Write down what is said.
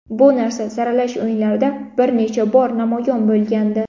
Bu narsa saralash o‘yinlarida bir necha bor namoyon bo‘lgandi.